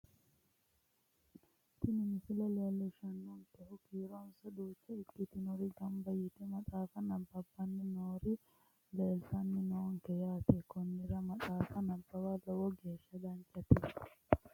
Tini misile leellishshannonkehu kiironsa duucha ikkitinori gamba yite maxaafa nabbabbanni noori leeltanni noonke yaate konnira maxaafa nabbawa lowo geeshsha danchate